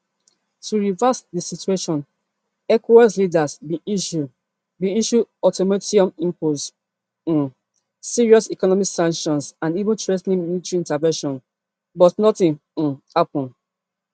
to reverse di situation ecowas leaders bin issue bin issue ultimatums impose um serious economic sanctions and even threa ten military intervention but nothing um happun